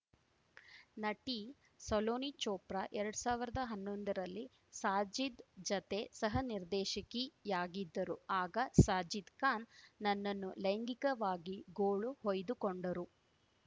ನಟಿ ಸಲೋನಿ ಚೋಪ್ರಾ ಎರಡ್ ಸಾವಿರ್ದಾ ಹನ್ನೊಂದರಲ್ಲಿ ಸಾಜಿದ್‌ ಜತೆ ಸಹನಿರ್ದೇಶಕಿಯಾಗಿದ್ದರು ಆಗ ಸಾಜಿದ್‌ ಖಾನ್‌ ನನ್ನನ್ನು ಲೈಂಗಿಕವಾಗಿ ಗೋಳು ಹೊಯ್ದುಕೊಂಡರು